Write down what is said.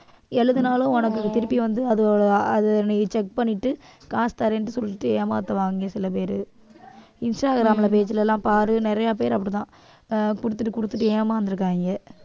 எழுதினாலும் உனக்கு திருப்பி வந்து அது நீ check பண்ணிட்டு காசு தரேன்னு சொல்லிட்டு ஏமாத்துவாங்க சில பேரு இன்ஸ்டாகிராம்ல page ல எல்லாம் பாரு நிறைய பேர் அப்படிதான் ஆஹ் குடுத்துட்டு குடுத்துட்டு ஏமாந்திருக்காங்க